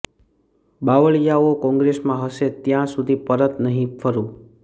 બાવળિયાઓ કોંગ્રેસમાં હશે ત્યાં સુધી પરત નહીં ફરૂં